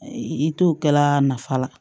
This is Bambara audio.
I t'o kɛla nafa la